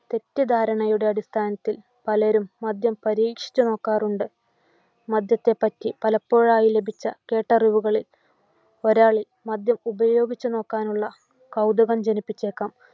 തെറ്റിദ്ധാരണയുടെ അടിസ്ഥാനത്തിൽ പലരും മദ്യം പരീക്ഷിച്ചു നോക്കാറുണ്ട്. മദ്യത്തെപ്പറ്റി പലപ്പോഴായി ലഭിച്ച കേട്ടറിവുകളിൽ ഒരാളിൽ മദ്യം ഉപേയാഗിച്ചുനോക്കാനുള്ള കൗതുകം ജനിപ്പിച്ചേക്കാം.